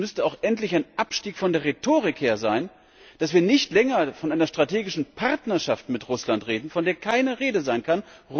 Es müsste auch endlich ein Abstieg von der Rhetorik her sein, dass wir nicht länger von einer strategischen Partnerschaft mit Russland reden, von der keine Rede sein kann.